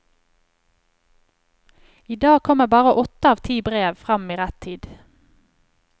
I dag kommer bare åtte av ti brev frem i rett tid.